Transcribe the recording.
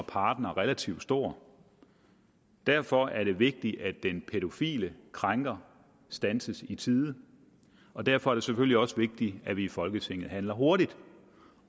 partnere relativt stor derfor er det vigtigt at den pædofile krænker standses i tide og derfor er det selvfølgelig også vigtigt at vi i folketinget handler hurtigt